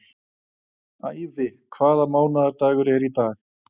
Ævi, hvaða mánaðardagur er í dag?